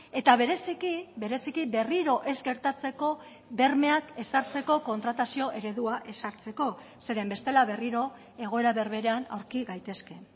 eta bereziki bereziki berriro ez gertatzeko bermeak ezartzeko kontratazio eredua ezartzeko zeren bestela berriro egoera berberean aurki gaitezke